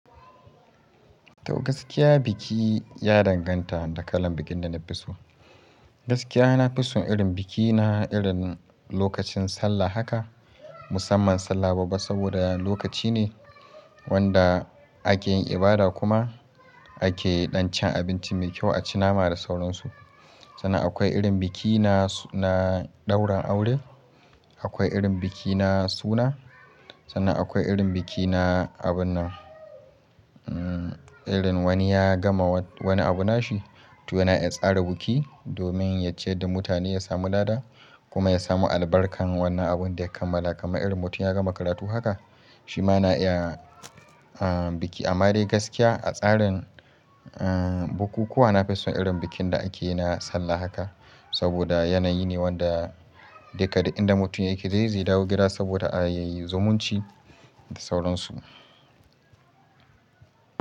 To gaskiya biki ya danganta da kalan bikin da na fi so. Gaskiya na fi son irin biki na irin lokacin sallah haka musamman sallah babba saboda lokaci ne wanda ake yin ibada kuma ake ɗan cin abinci mai kyau a ci nama da sauransu. Sannan akwai irin biki na, na ɗaurin aure, akwai irin biki na suna, sannan akwai irin biki na abun nan, umm irin wani ya gama wani abu nashi to yana yin tsarin biki domin ya ce da mutane ya samu dada kuma ya samu albarkar wannan abun da ya kammala kamar irin mutum ya gama karatu haka shi ma yana iya biki. Amma dai gaskiya a tsarin uhm bukukuwa na fi son irin bikin da ake na sallah haka saboda yanayi ne wanda duka duk inda mutum yake zai, zai dawo gida saboda a yi zumunci da sauransu.